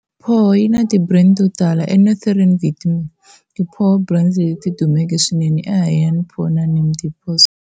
Pho yina ti brand totala, eNorthern Vietnam ti pho brands leti dumeke swinene i Hanoi Pho na Nam Dinh pho stores.